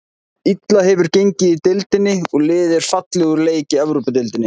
Illa hefur gengið í deildinni og liðið er fallið úr leik í Evrópudeildinni.